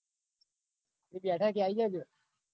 એ બેઠકે આઈ જજો.